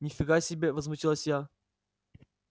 ни фига себе возмутилась я